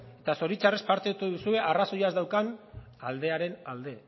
eta zoritxarrez parte hartu duzue arrazoia ez daukan aldearen alde